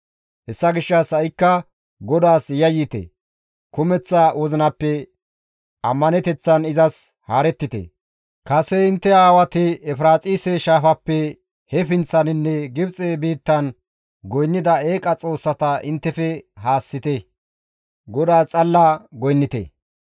«Hessa gishshas ha7ikka GODAAS yayyite; kumeththa wozinappe ammaneteththan izas haarettite; kase intte aawati Efiraaxise shaafappe he pinththaninne Gibxe biittan goynnida eeqa xoossata inttefe haassite; GODAAS xalla goynnite.